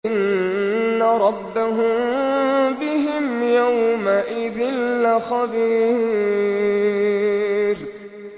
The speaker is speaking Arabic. إِنَّ رَبَّهُم بِهِمْ يَوْمَئِذٍ لَّخَبِيرٌ